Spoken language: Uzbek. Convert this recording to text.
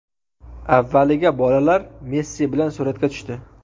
Avvaliga bolalar Messi bilan suratga tushdi.